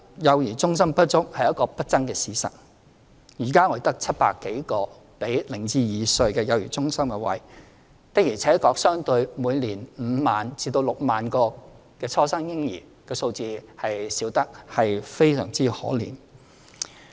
幼兒中心不足是一個不爭的事實，現在我們只有700多個供零至兩歲幼兒的幼兒中心名額，相對於每年5萬名至6萬名初生嬰兒的數字，確實是少得非常可憐。